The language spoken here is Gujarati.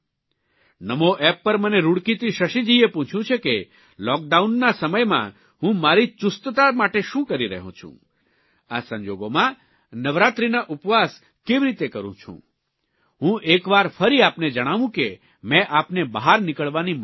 નમો એપ પર મને રૂડકીથી શશીજીએ પૂછ્યું છે કે લૉકડાઉનના સમયમાં હું મારી ચુસ્તતા માટે શું કરી રહ્યો છું આ સંજોગોમાં નવરાત્રીના ઉપવાસ કેવી રીતે કરું છું હું એકવાર ફરી આપને જણાવું કે મેં આપને બહાર નીકળવાની મનાઇ કરી છે